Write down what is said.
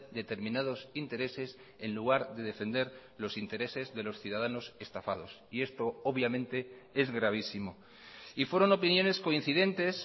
determinados intereses en lugar de defender los intereses de los ciudadanos estafados y esto obviamente es gravísimo y fueron opiniones coincidentes